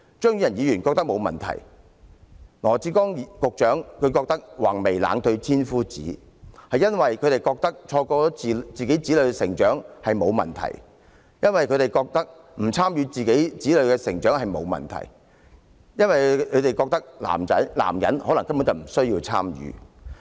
張宇人議員覺得這樣沒有問題，羅致光局長也說"橫眉冷對千夫指"，覺得錯過自己子女的成長並無問題，覺得不參與子女的成長並無問題，因為他們覺得男人根本不需要參與。